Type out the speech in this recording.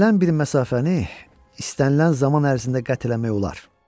İstənilən bir məsafəni, istənilən zaman ərzində qət eləmək olar.